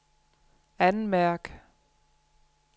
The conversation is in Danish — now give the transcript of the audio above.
anmærk